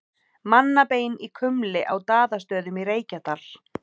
Mannabein í kumli á Daðastöðum í Reykjadal.